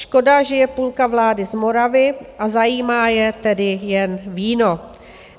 Škoda že je půlka vlády z Moravy, a zajímá je tedy jen víno.